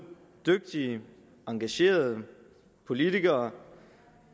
dygtige engagerede politikere